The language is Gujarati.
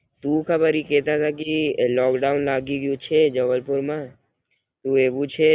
સુ ખબર ઈ કેતાતા કી લોકડાઉન લાગી ગયું છે જબલપુર માં તો એવું છે લઇ આવે પાછા અહીં.